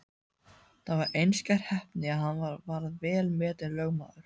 Það var einskær heppni að hann varð vel metinn lögmaður.